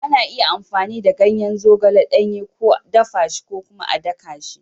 Ana iya amfani da ganyen zogale ɗanye, ko dafa shi, ko kuma a daka shi.